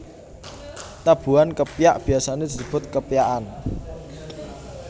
Tabuhan kepyak biasane disebut kepyakan